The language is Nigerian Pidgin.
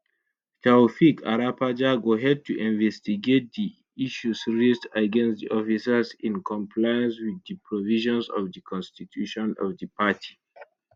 taofeek arapaja go head to investigate di issues raised against di officers in compliance wit di provisions of di constitution of di party